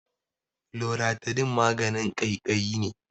Loratidine maganin ƙaiƙayi ne.